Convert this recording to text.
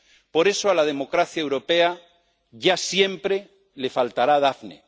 Por eso, a la democracia europea ya siempre le faltará Daphne.